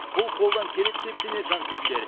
бұл қолдан келеді деп сенеді жанкүйерлер